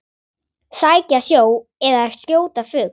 Sækja sjó eða skjóta fugl.